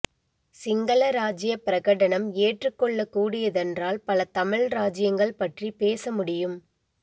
சிங்களராஜ்ய பிரகடனம் ஏற்றுக்கொள்ள கூடியதென்றால் பல தமிழ் ராஜ்யங்கள் பற்றி பேசமுடியும்